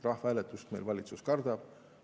Rahvahääletust meil valitsus kardab.